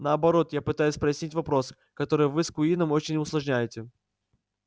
наоборот я пытаюсь прояснить вопрос который вы с куинном очень усложняете